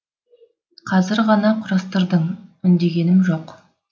қазір ғана құрастырдың үндегенім жоқ